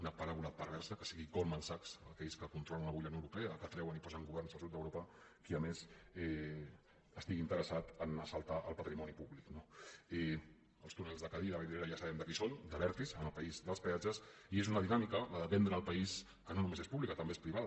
una paràbola perversa que sigui goldman sachs aquells que controlen avui la unió europea que treuen i posen governs al sud d’europa qui a més estigui interessat a assaltar el patrimoni públic no els túnels del cadí i de vallvidrera ja sabem de qui són d’abertis en el país dels peatges i és una dinàmica la de vendre el país que no només és pública també és privada